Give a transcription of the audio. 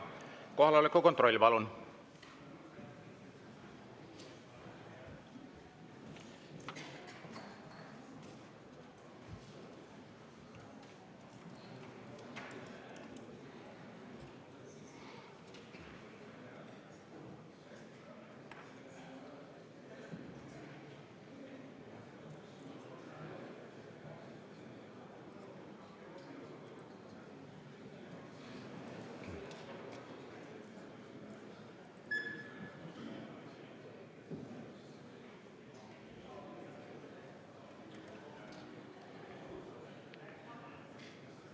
Kohaloleku kontroll, palun!